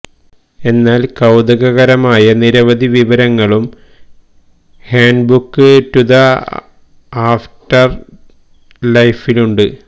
എന്നാല് കൌതുകകരമായ നിരവധി വിവരങ്ങളും ഹാന്റ്ബുക് ടു ദ ആഫ്റ്റര് ലൈഫിലുണ്ട്